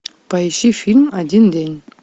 поищи фильм один день